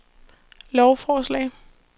lovforslag